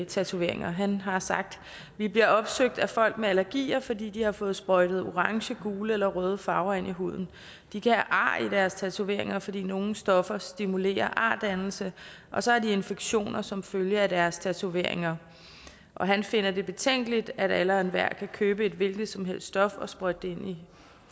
tatoveringer han har sagt vi bliver opsøgt af folk med allergier fordi de har får sprøjtet orange gule eller røde farver ind i huden de kan have ar i deres tatoveringer fordi nogle stoffer stimulerer ardannelse og så har de infektioner som følge af deres tatoveringer han finder det betænkeligt at alle og enhver kan købe et hvilket som helst stof og sprøjte det ind i